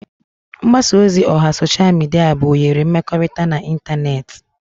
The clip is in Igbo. Mgbasa ozi oha sosha mịdịa bụ oghere mmekọrịta na ịntanetị.